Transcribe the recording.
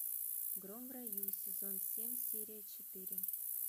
гром в раю сезон семь серия четыре